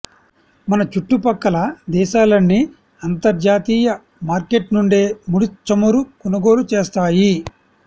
మన చుట్టు పక్కల దేశాలన్నీ అంతర్జాతీయ మార్కెట్ నుండే ముడి చమురు కొనుగోలు చేస్తాయి